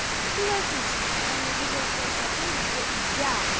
было отлично пока я не увидела то сообщение где я